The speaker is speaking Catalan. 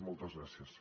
moltes gràcies